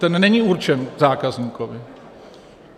Ten není určen zákazníkovi.